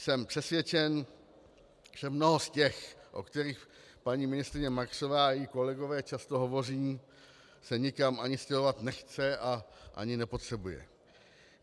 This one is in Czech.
Jsem přesvědčen, že mnoho z těch, o kterých paní ministryně Marksová i její kolegové často hovoří, se nikam ani stěhovat nechce a ani nepotřebuje.